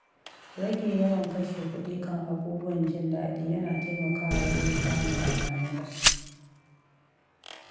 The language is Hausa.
Rage yawan kashe kuɗi kan abubuwan jin daɗi yana taimakawa wajen samu a tanada.